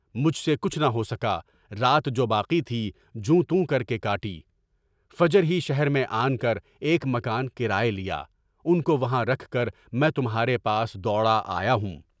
مجھ سے کچھ نہ ہو سکا، رات جو باقی تھی جوں توں کر کے کاٹی، فجر ہی شہر میں ایک مکان کرایے پر لیا، اُن کو وہاں رکھ کر میں تمہارے پاس دوڑا آیا ہوں۔